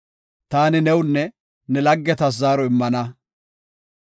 Taani newunne ne laggetas zaaro immana.